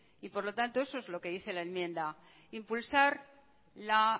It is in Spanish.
y por lo tanto eso es lo que dice la enmienda impulsar la